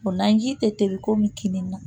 O naji tɛ komi kin ne na